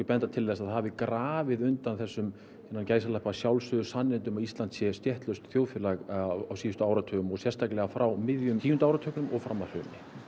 benda til þess að það hafi grafið undan þessum innan gæsalappa sjálfsögðu sannindum að Ísland sé stéttlaust þjóðfélag á síðustu áratugum og sérstaklega frá miðjum tíunda áratugnum og fram að hruni